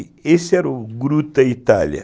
Esse era o Gruta Itália.